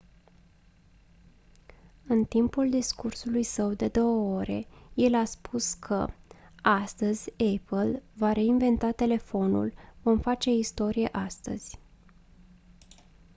în timpul discursului său de 2 ore el a spus că «astăzi apple va reinventa telefonul vom face istorie astăzi».